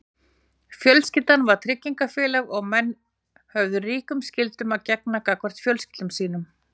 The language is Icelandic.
Fjölskyldan var tryggingafélag og menn höfðu ríkum skyldum að gegna gagnvart fjölskyldum sínum.